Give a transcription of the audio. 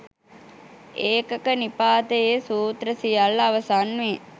ඒකක නිපාතයේ සූත්‍ර සියල්ල අවසන් වේ.